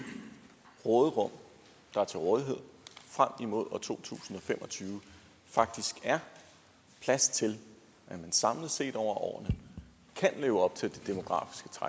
råderum der er til rådighed frem imod år to tusind og fem og tyve faktisk er plads til at man samlet set over årene kan leve op til og